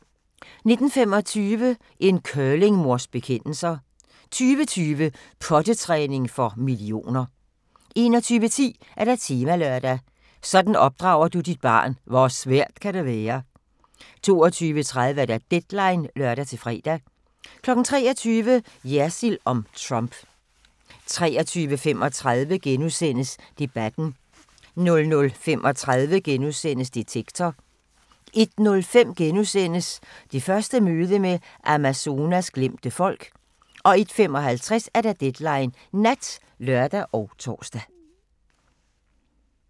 19:25: En curlingmors bekendelser 20:20: Pottetræning for millioner 21:10: Temalørdag: Sådan opdrager du dit barn – hvor svært kan det være? 22:30: Deadline (lør-fre) 23:00: Jersild om Trump 23:35: Debatten * 00:35: Detektor * 01:05: Det første møde med Amazonas glemte folk * 01:55: Deadline Nat (lør og tor)